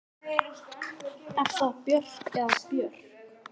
Er það Björg eða Björk?